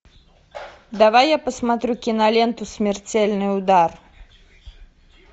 давай я посмотрю киноленту смертельный удар